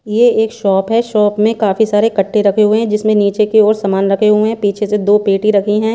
ये एक शॉप है शॉप में काफी सारे कट्टे रखे हुए हैं जिसमें नीचे की और सामान रखे हुए पीछे से दो पेटी रखीं हैं।